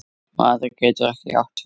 Maður getur ekki átt tvö